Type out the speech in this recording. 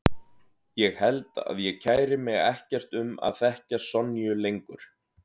Ég held að ég kæri mig ekkert um að þekkja Sonju lengur.